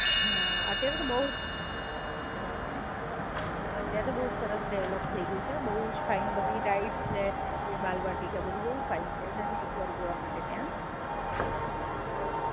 અત્યારે તો બઉ જ સરસ ડેવેલોપ થય ગયું છે. બઉ જ ફાઇન બધી રાઇડસ છે, એ બાળવાટીકા બધુ બઉ ફાઇન છે. જજે એકવાર જોવા માટે ત્યાં.